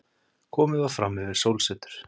Komið var frammyfir sólsetur.